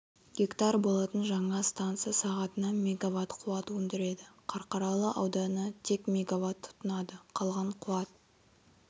гектар болатын жаңа станса сағатына мегаватт қуат өндіреді қарқаралы ауданы тек мегаватт тұтынады қалған қуат